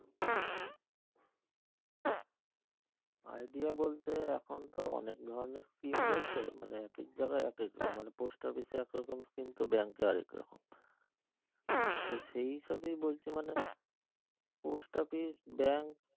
idea বলতে এখন তো অনেক ধরণের scheme রয়েছে মানে আরকি ঠিক ভাবে post office এ একরকম scheme তো bank এ আর একরকম তো সেই সবই বলছি মানে post office bank